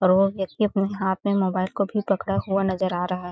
और वो व्यक्ति अपने हाथ में मोबाइल को भी पकड़ा हुआ नज़र आ रहा है